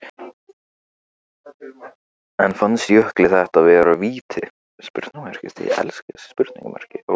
En fannst Jökli þetta vera víti?